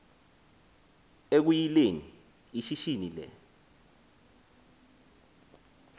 ekuyileni ishishini le